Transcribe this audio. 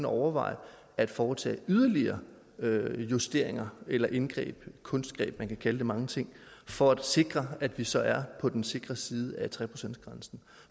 overveje at foretage yderligere justeringer eller indgreb kunstgreb man kan kalde det mange ting for at sikre at vi så er på den sikre side af tre procentgrænsen